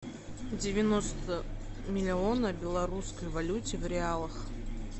девяносто миллиона белорусской валюте в реалах